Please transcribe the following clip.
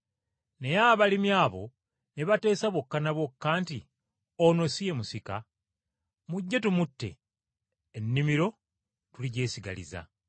“Naye abalimi abo ne bateesa bokka na bokka nti, Ono ye musika, mujje tumutte ebyobusika tubyesigalize!